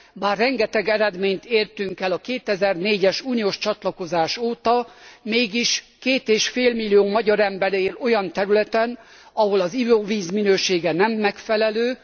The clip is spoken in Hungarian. Már rengeteg eredményt értünk el a 2004 es uniós csatlakozás óta, mégis 2,5 millió magyar ember él olyan területen, ahol az ivóvíz minősége nem megfelelő.